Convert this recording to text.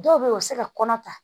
Dɔw bɛ yen u bɛ se ka kɔnɔ ta